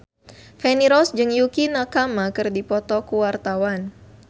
Feni Rose jeung Yukie Nakama keur dipoto ku wartawan